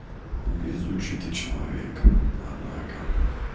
везучий ты человек однако